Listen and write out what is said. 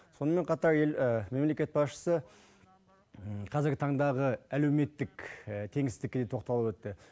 сонымен қатар мемлекет басшысы қазіргі таңдағы әлеуметтік теңсіздікке де тоқталып өтті